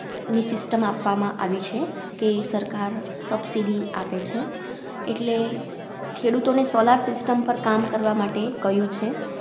ની System આપવામાં આવી છે કે સરકાર Subsidy આપે છે એટલે ખેડૂતોને Solar system પર કામ કરવા માટે કહ્યું છે.